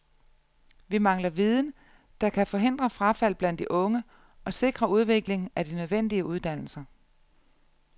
Vi mangler viden, der kan forhindre frafald blandt de unge og sikre udvikling af de nødvendige uddannelser.